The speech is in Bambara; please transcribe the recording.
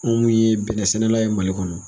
Anw yee bɛnɛ sɛnɛla ye Mali kɔnɔ.